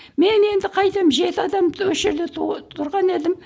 мен енді қайтемін жеті адамды осы жерде тұрған едім